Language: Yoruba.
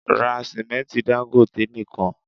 Ra sìmẹ́ntí Dangote nìkan!